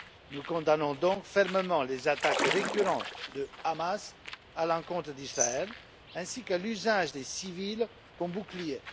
Nous condamnons donc fermement les attaques récurrentes du Hamas à l'encontre d'Israël, ainsi que l'usage des civils comme bouclier.